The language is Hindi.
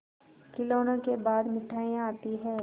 खिलौनों के बाद मिठाइयाँ आती हैं